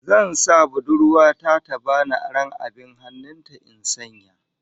Zan sa budurwa ta ta bani aron abin hannun ta in sanya